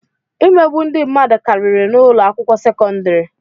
Imegbu ndị mmadụ kariri n'ụlọ akwụkwọ sekọndrị.